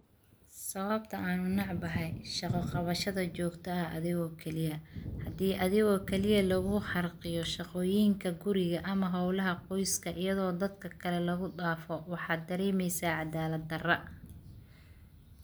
Sababta aan u necbahay shaqo qabashada jogta ah adhigo kalii ah. Hadi adigo kaliya lagugu xarqiyo shaqoyinka guriga adhigo kaliya ah ama howlaha qoyska ,iyadho dadka lagu dafo waxad daremesa cadalad dara.